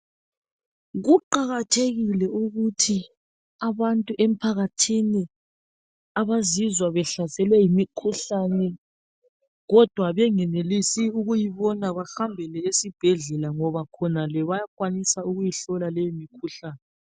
Kuqakathekile ukuthi abantu emphakathini abazizwa abahlaselwe yimikhuhlane kodwa bengenelisi ukuyibona bahambele esibhedlela ngoba bona bayakwanisa ukuyibona leyo mikhuhlane.